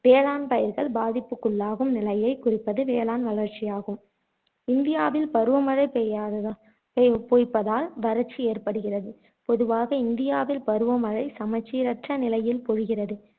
வேளாண் பயிர்கள் பாதிப்புக்குள்ளாகும் நிலையைக் குறிப்பது வேளாண் வறட்சியாகும் இந்தியாவில் பருவ மழை பெய்யாததால் பொ பொய்ப்பதால் வறட்சி ஏற்படுகிறது பொதுவாக இந்தியாவில் பருவமழை சமச்சீரற்ற நிலையில் பொழிகிறது